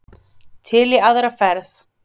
Til í aðra ferð.